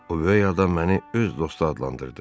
O böyük adam məni öz dostu adlandırdı.